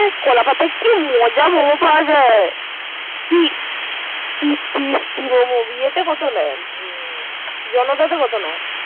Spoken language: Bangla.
কলাপাতা কি পাওয়া যায়। জনপথে কত নেয়।